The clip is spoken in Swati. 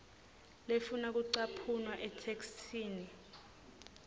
lefuna kucaphuna etheksthini